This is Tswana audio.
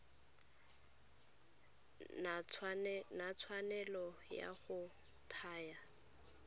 na tshwanelo ya go thaya